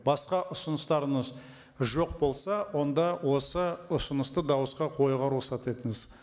басқа ұсыныстарыңыз жоқ болса онда осы ұсынысты дауысқа қоюға рұқсат етіңіз